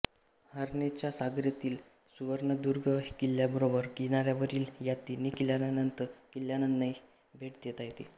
हर्णेच्या सागरातील सुवर्णदुर्ग किल्ल्याबरोबर किनाऱ्यावरील या तिन्ही किल्ल्यांनाही भेट देता येते